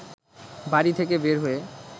বাড়ি থেকে বের হয়ে